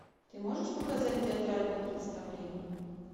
ты можешь показать театральное представление